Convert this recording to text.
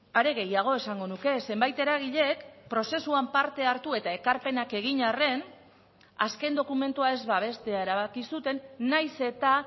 are gehiago esango nuke zenbait eragilek prozesuan parte hartu eta ekarpenak egin arren azken dokumentua ez babestea erabaki zuten nahiz eta